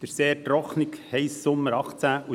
– Der sehr trockene, heisse Sommer 2018 und